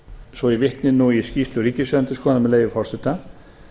svo ég vitni í skýrslu ríkisendurskoðunar með leyfi forseta